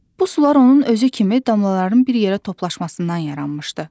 Bu sular onun özü kimi damlaların bir yerə toplaşmasından yaranmışdı.